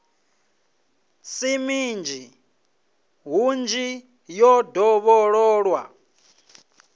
si minzhi hunzhi yo dovhololwa